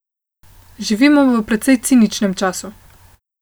Živimo v precej ciničnem času.